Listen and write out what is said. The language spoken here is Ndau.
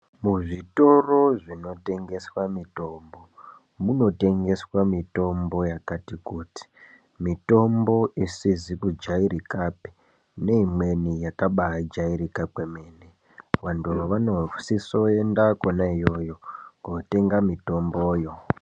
Muzvitoro zvinotengeswa mitombo, munotengeswa mitombo yakati kuti. Mitombo isizikujayirikape neyimweni yakabajayirika kwemene. Vantu vanosiso yenda khona yoyo kotenga mitomboyo.